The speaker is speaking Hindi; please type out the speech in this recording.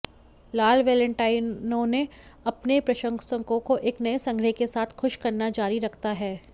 लाल वैलेंटाइनो अपने प्रशंसकों को नए संग्रह के साथ खुश करना जारी रखता है